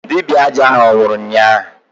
Dibịa aja ahụ anwụrụ ụnyaahụ?